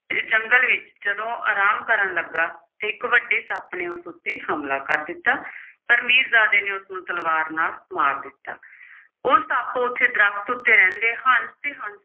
ਜੰਗਲ ਵਿੱਚ ਜਦੋਂ ਆਰਾਮ ਕਰਨ ਲੱਗਾ ਤੇ ਇੱਕ ਵੱਡੇ ਸੱਪ ਨੇ ਉਸ ਉੱਤੇ ਹਮਲਾ ਕਰ ਦਿੱਤਾ। ਪਰ ਮੀਰਜ਼ਾਦੇ ਨੇ ਉਸਨੂੰ ਤਲਵਾਰ ਨਾਲ ਮਾਰ ਦਿੱਤਾ। ਉਹ ਸੱਪ ਉਸੇ ਦਰਖੱਤ ਉੱਤੇ ਰਹਿੰਦਾ ਸੀ ਤੇ